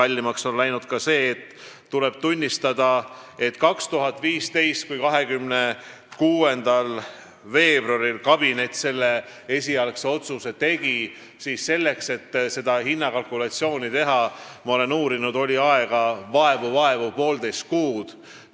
Ma uurisin seda ja sain teada, et kui kabinet tegi 2015. aasta 26. veebruaril esialgse otsuse, siis oli hinnakalkulatsiooni tegemiseks aega vaevalt poolteist kuud.